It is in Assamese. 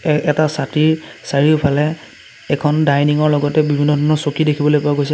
এটা ছাতিৰ চাৰিওফালে এখন ডাইনিং ৰ লগতে বিভিন্ন ধৰণৰ চকী দেখিবলৈ পোৱা গৈছে।